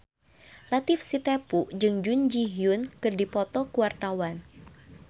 Latief Sitepu jeung Jun Ji Hyun keur dipoto ku wartawan